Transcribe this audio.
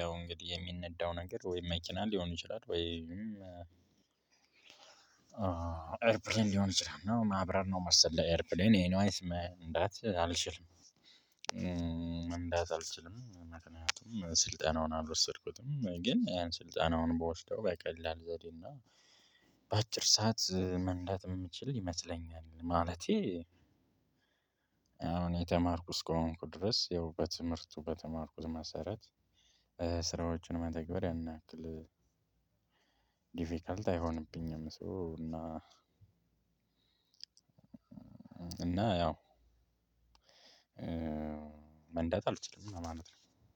ያው እንግዲህ የሚነዳው ነገር ወይም መኪና ሊሆን ይችላል ወይም ኤርፕሌን ሊሆን ይችላል ማብራር ነው መሰለኝ ኤርፕሌን ኤኒዌይስ መንዳት አልችልም። መንዳት አልችልም ምክንያቱም ስልጠናውን አልወሰድኩትም ግን ያን ስልጠናውን ብውስደው በቀላል ዘዴ እና በአጭር ሰዓት መንዳት የምችል ይመስለኛል። ማለቴ አሁን የተማርኩት እስከሆንኩ ድረስ ያው በትምህርቱ በተማርኩት መሰረት። ስራዎችን መተግበር ያንያክል ዲፊከልት አይሆንብኝም። ሶ እና እና ያው መንዳት አልችልም ለማለት ነው።